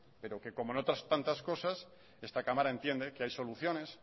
pero que como en otras tantas cosas esta cámara entiende que hay soluciones